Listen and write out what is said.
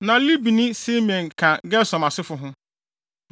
Na Libni ne Simei ka Gersom asefo ho.